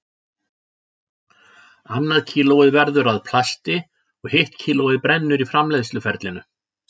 Annað kílóið verður að plasti og hitt kílóið brennur í framleiðsluferlinu.